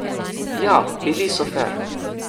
Ja, bili so fer.